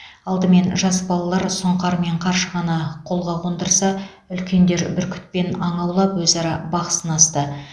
алдымен жас балалар сұңқар мен қаршығаны қолға қондырса үлкендер бүркітпен аң аулап өзара бақ сынасты